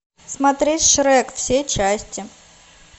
смотреть шрек все части